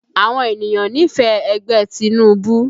Àwọn ènìyàn nífẹ̀ẹ́ ẹgbẹ́ Tinubu